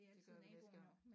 Det gør vi næste gang